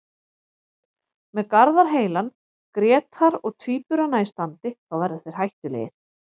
Með Garðar heilan, Grétar og Tvíburana í standi þá verða þeir hættulegir.